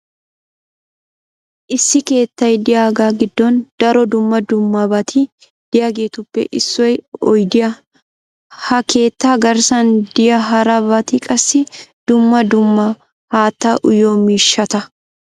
issi keettay diyagaa giddon daro dumma dummabati diyageetuppe issoy oyddiya. ha keettaa garssan diya hara bati qassi dumma dumma haattaa uyiyo miishshata.